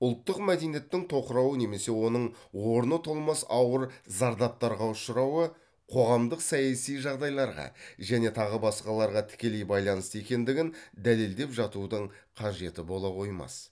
ұлттық мәдениеттің тоқырауы немесе оның орны толмас ауыр зардаптарға ұшырауы қоғамдық саяси жағдайларға және тағы басқаларға тікелей байланысты екендігін дәлелдеп жатудың қажеті бола қоймас